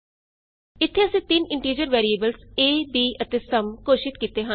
ਇਥੇ ਅਸੀਂ ਤਿੰਨ ਇੰਟੀਜ਼ਰ ਵੈਰੀਏਬਲਸ ਏ b ਅਤੇ ਸਮ ਘੋਸ਼ਿਤ ਕੀਤੇ ਹਨ